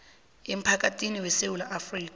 emphakathini wesewula afrika